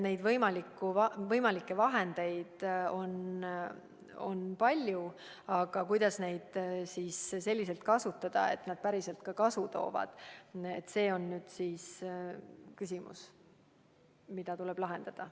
Neid võimalikke vahendeid on palju, aga kuidas neid selliselt kasutada, et need päriselt ka kasu toovad – see on nüüd küsimus, mis tuleb lahendada.